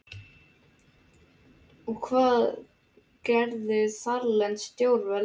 Og hvað gerðu þarlend stjórnvöld?